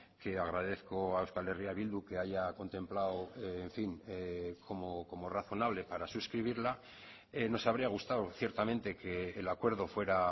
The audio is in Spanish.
que agradezco a euskal herria bildu que haya contemplado en fin como razonablepara suscribirla nos habría gustado ciertamente que el acuerdo fuera